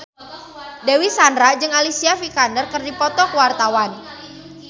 Dewi Sandra jeung Alicia Vikander keur dipoto ku wartawan